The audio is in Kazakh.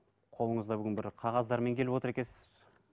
қолыңызда бүгін бір қағаздармен келіп отыр екенсіз